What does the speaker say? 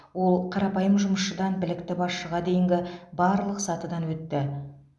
ол қарапайым жұмысшыдан білікті басшыға дейінгі барлық сатыдан өтті